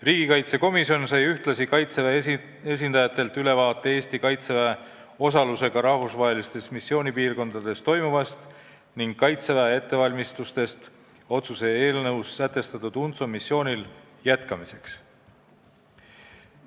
Riigikaitsekomisjon sai ühtlasi Kaitseväe esindajatelt ülevaate Eesti Kaitseväe osalusega rahvusvahelistes missioonipiirkondades toimuvast ning Kaitseväe ettevalmistustest otsuse eelnõus sätestatud UNTSO missioonil jätkamiseks.